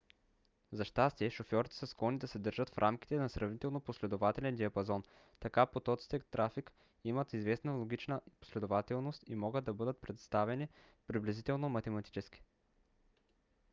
за щастие шофьорите са склонни да се държат в рамките на сравнително последователен диапазон; така потоците трафик имат известна логична последователност и могат да бъдат представени приблизително математически